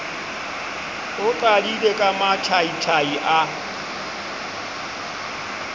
o qadile ka mathaithai a